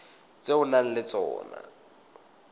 tse o nang le tsona